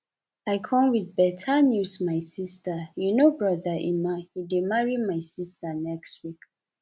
i come with beta news my sister you know brother emma he dey marry my sister next week